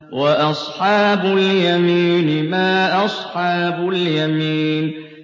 وَأَصْحَابُ الْيَمِينِ مَا أَصْحَابُ الْيَمِينِ